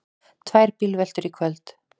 Tvær bílveltur í kvöld